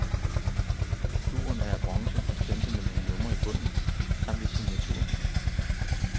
Figuren er af bronze og stemplet med nogle numre i bunden, samt en signatur.